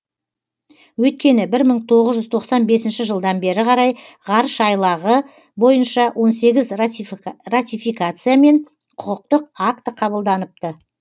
өйткені бір мың тоғыз жүз тоқсан бесінші жылдан бері қарай ғарыш айлағы бойынша он сегіз ратификация мен құқықтық акті қабылданыпты